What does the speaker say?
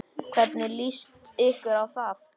Hvernig líst ykkur á það?